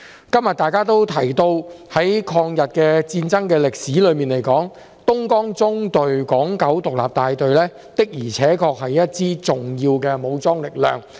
今天大家都提到，在抗日戰爭歷史中，東江縱隊港九獨立大隊的而且確是一支重要的武裝力量。